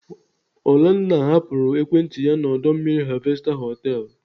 Olenna hapụrụ ekwentị ya na ọdọ mmiri Harvester họtelu.